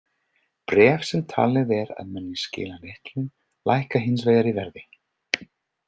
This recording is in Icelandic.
Bréf sem talið er að muni skila litlu lækka hins vegar í verði.